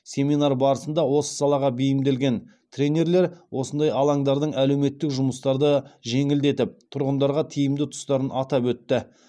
семинар барысында осы салаға бейімделген тренерлер осындай алаңдардың әлеуметтік жұмыстарды жеңілдетіп тұрғындарға тиімді тұстарын атап өтті